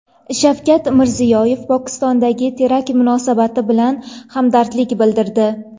Shavkat Mirziyoyev Pokistondagi terakt munosabati bilan hamdardlik bildirdi.